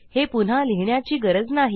हे पुन्हा लिहिण्याची गरज नाही